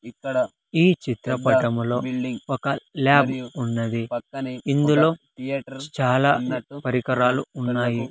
ఈ చిత్రపటములో ఒక ల్యాబ్ ఉన్నది ఇందులో చాలా పరికరాలు ఉన్నాయి.